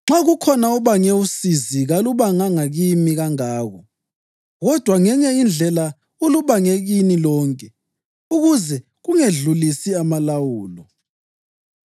Nxa kukhona obange usizi, kalubanganga kimi kangako, kodwa ngenye indlela ulubange kini lonke, ukuze kungedlulisi amalawulo.